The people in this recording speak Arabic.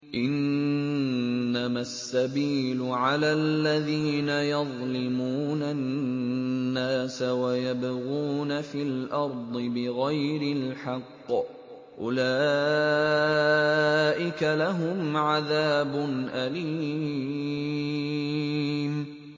إِنَّمَا السَّبِيلُ عَلَى الَّذِينَ يَظْلِمُونَ النَّاسَ وَيَبْغُونَ فِي الْأَرْضِ بِغَيْرِ الْحَقِّ ۚ أُولَٰئِكَ لَهُمْ عَذَابٌ أَلِيمٌ